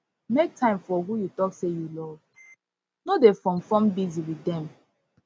make time for who you talk sey you love no dey form form busy with dem